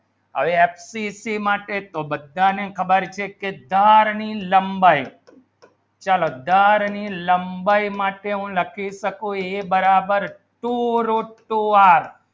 FCC માં એક બધા ની ખબર છે કી દર ની લંબાઈ ચલો દર ની લંબાઈ માતુ હું લખી શકો a બરાબર two root two r